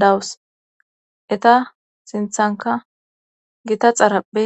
dawus eta sinthanka gita xarapphe